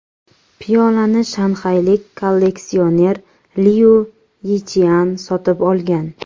Piyolani shanxaylik kolleksioner Liu Yichian sotib olgan.